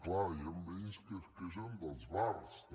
clar hi han veïns que es queixen dels bars també